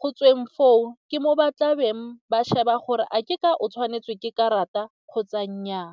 go tsweng foo ke mo ba tlabeng ba sheba gore a ke ka o tshwanetswe ke karata kgotsa nnyaa.